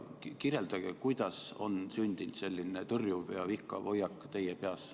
Kirjeldage, kuidas on sündinud selline tõrjuv ja vihkav hoiak teie peas.